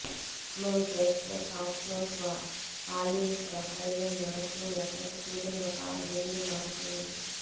మేము చేస్తే soft polypropylene shoe ఏకైక సూదులు ఒక దిండు మారుతుందని